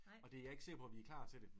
Og det jeg ikke sikker på vi er klar til det